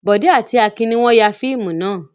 Bọ̀dé àti Akin ní wọ́n ya fíìmù náà.